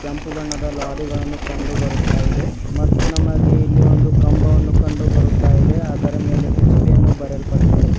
ಕೆಂಪು ಬಣ್ಣದ ಲಾರಿಗಳನ್ನು ಕಂಡುಬರುತ್ತ ಇದೆ ಮತ್ತು ನಮಗೆ ಇಲ್ಲಿ ಒಂದು ಕಂಬವನ್ನು ಕಂಡುಬರುತ್ತಾಯಿದೆ ಅದರ ಮೇಲೆ ಎಚ್_ಪಿ ಯನ್ನು ಬರೆಯಲ್ಪಟ್ಟಿದೆ.